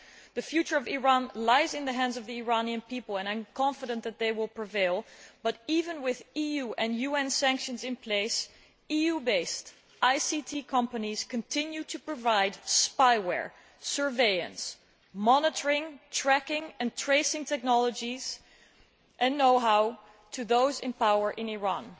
The future of Iran lies in the hands of the Iranian people and I am confident that they will prevail, but even with EU and UN sanctions in place, EU based ICT companies continue to provide spyware, surveillance, monitoring, tracking and tracing technologies and know how to those in power in Iran.